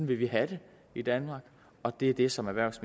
vil vi have det i danmark og det er det som erhvervs